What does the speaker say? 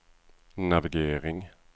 navigering